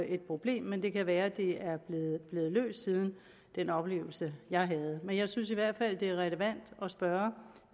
et problem men det kan være at det er blevet løst siden den oplevelse jeg havde jeg synes i hvert fald at det er relevant at spørge